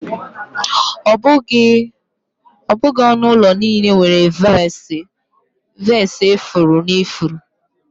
Ọ bụghị onu ulo niile nwere vasi ifuru na ifuru.